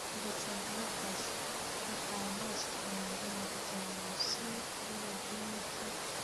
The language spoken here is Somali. Beta-blockers-ka waxaa loo isticmaalaa in lagu daweeyo CPVT.